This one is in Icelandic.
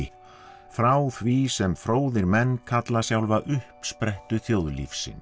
frá því sem fróðir menn kalla sjálfa uppsprettu þjóðlífsins